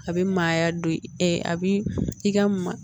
A bɛ maaya don a bi i ka